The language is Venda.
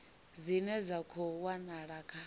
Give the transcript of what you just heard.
dzine dza khou wanala kha